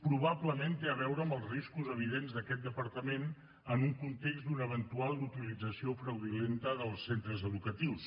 probablement té a veure amb els riscos evidents d’aquest departament en un context d’una eventual utilització fraudulenta dels centres educatius